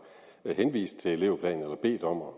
har henvist til elevplanerne eller bedt om at